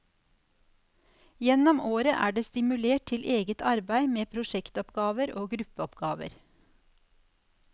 Gjennom året er det stimulert til eget arbeid med prosjektoppgaver og gruppeoppgaver.